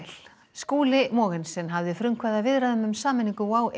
Skúli Mogensen hafði frumkvæði að viðræðum um sameiningu WOW